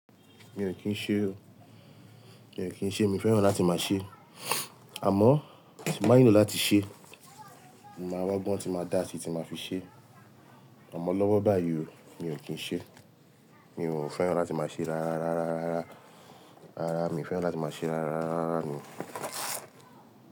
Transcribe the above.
Mi ò kí ń ṣe o. Mi ò kí ń ṣe, mi fẹ́ràn láti máa ṣe. Àmọ́, tí mo bá nílò láti ṣe, mo máa wá gbọ́n, tí máa dáa sí tí máa fi ṣe. Ọ̀mọ lọ́wọ́ báyìí o, mi ò kí ń ṣe. Mi ò fẹ́ràn láti máa ṣe rárá, rárá, rárá, rárá. Rárá, mi ò fẹ́ràn láti máa ṣe rárá, rárá, rárá ni.